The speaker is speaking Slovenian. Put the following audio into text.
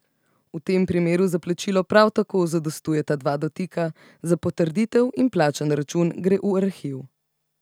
V tem primeru za plačilo prav tako zadostujeta dva dotika za potrditev in plačan račun gre v arhiv.